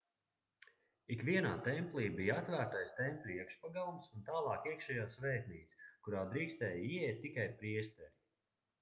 ikvienā templī bija atvērtais tempļa iekšpagalms un tālāk iekšējā svētnīca kurā drīkstēja ieiet tikai priesteri